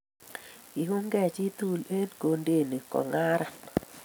Kiungei chii tugul eng Kondeni kongaran